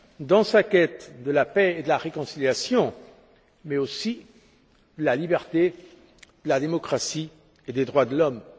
dans sa quête de la paix et de la réconciliation mais aussi de la liberté, de la démocratie et des droits de l'homme.